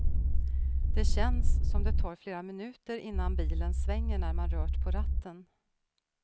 Det känns som det tar flera minuter innan bilen svänger när man rört på ratten.